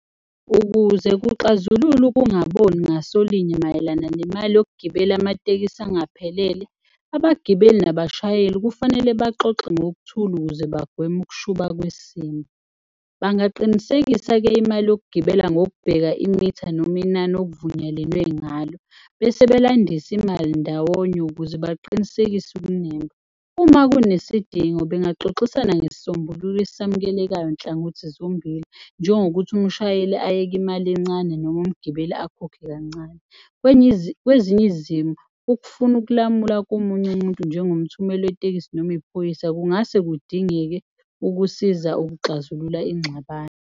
Ukuze kuxazulule ukungaboni ngaso linye mayelana nemali yokugibela amatekisi angaphelele, abagibeli nabashayeli kufanele baxoxe ngokuthula ukuze bagweme ukushuba kwesimo. Bangaqinisekisa-ke imali yokugibela ngokubheka imitha noma inani okuvunyelenwe ngalo bese belandise imali ndawonye ukuze baqinisekise . Uma kunesidingo bengaxoxisana ngesisombululo esamukelekayo nhlangothi zombili, njengokuthi umshayeli ayeke imali encane noma umgibeli akhokhe kancane. Kwezinye izimo ukufuna ukulamula komunye umuntu njengomthumeli wetekisi noma iphoyisa kungase kudingeke ukusiza ukuxazulula ingxabano.